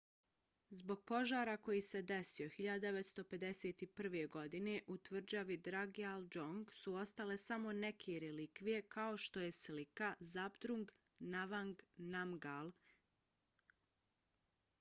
zbog požara koji se desio 1951. godine u tvrđavi drukgyal dzong su ostale samo neke relikvije kao što je slika zhabdrung ngawang namgyal